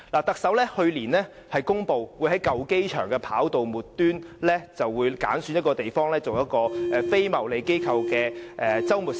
特首在去年公布會於舊機場跑道末端挑選一個位置作為非牟利機構的周末市集。